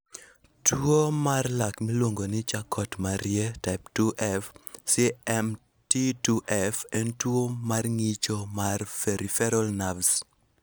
Tuwo mar lak miluongo ni Charcot Marie type 2F (CMT2F) en tuwo mar ng'icho mar peripheral nerves.